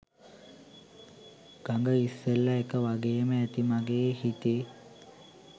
ගග ඉස්සෙල්ල එක වගේම ඇති මගේ හිතේ.